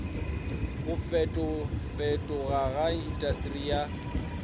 go fetofetoga ga intasteri ya